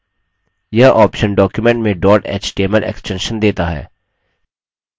यह option document में dot html extension देता है